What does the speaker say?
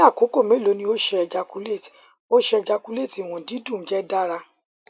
ni akoko melo ni o ṣe ejaculate o ṣe ejaculate iwọn didun jẹ dara